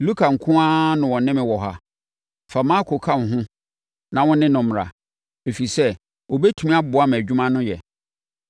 Luka nko ara na ɔne me wɔ ha. Fa Marko ka wo ho na wo ne no mmra, ɛfiri sɛ, ɔbɛtumi aboa me adwuma no yɛ.